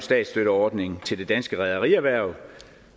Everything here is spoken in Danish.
statsstøtteordning til det danske rederierhverv